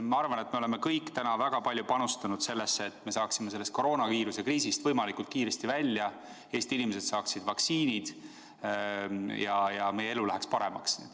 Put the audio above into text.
Ma arvan, et me oleme kõik täna väga palju panustanud sellesse, et me saaksime sellest koroonaviiruse kriisist võimalikult kiiresti välja, Eesti inimesed saaksid vaktsiinid ja meie elu läheks paremaks.